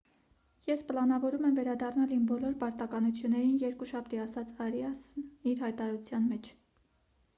ես պլանավորում եմ վերադառնալ իմ բոլոր պարտականություններին երկուշաբթի»,- ասաց արիասն իր հայտարարության մեջ: